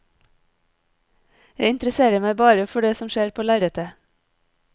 Jeg interesserer meg bare for det som skjer på lerretet.